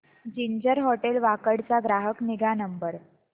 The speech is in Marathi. जिंजर हॉटेल वाकड चा ग्राहक निगा नंबर